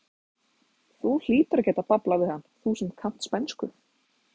Þú hlýtur að geta bablað við hann, þú sem kannt spænsku!